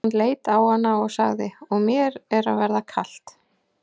Hann leit á hana og sagði:-Og mér er að verða kalt.